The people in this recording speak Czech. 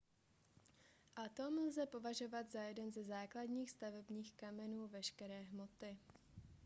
atom lze považovat za jeden ze základních stavebních kamenů veškeré hmoty